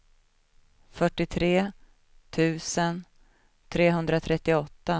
fyrtiotre tusen trehundratrettioåtta